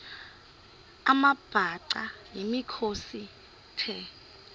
amabhaca yimikhosi the